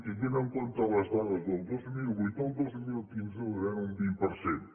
tenint en compte les dades del dos mil vuit el dos mil quinze reduiran un vint per cent